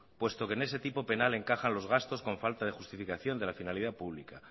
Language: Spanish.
puesto que en ese tipo penal encajan los gastos con falta de justificación de la finalidad pública